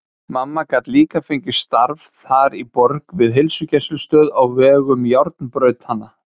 Mamma gat líka fengið starf þar í borg við heilsugæslustöð á vegum járnbrautanna.